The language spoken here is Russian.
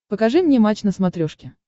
покажи мне матч на смотрешке